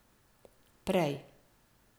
Prej.